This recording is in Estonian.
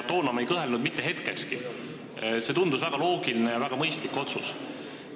Toona ma ei kõhelnud mitte hetkekski – see tundus väga loogiline ja väga mõistlik otsus.